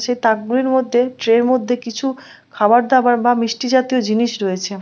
সে তাক গুলির মধ্যে ট্রে র মধ্যে কিছু খাবার দাবার বা মিষ্টি জাতীয় জিনিস রয়েছে ।